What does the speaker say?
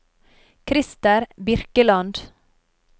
Christer Birkeland